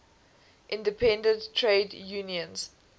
independent trade unions